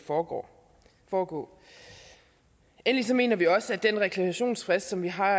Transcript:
foregå foregå endelig mener vi også at den reklamationsfrist som vi har